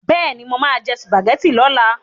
Bẹ́ẹ̀ni, mo máa jẹ sùpàgẹ́tì lọ́la.